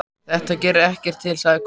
Þetta gerir ekkert til, sagði Kobbi.